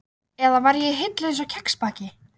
Eða var ég í hillu, einsog kexpakki?